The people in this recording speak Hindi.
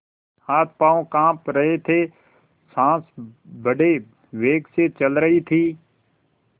हाथपॉँव कॉँप रहे थे सॉँस बड़े वेग से चल रही थी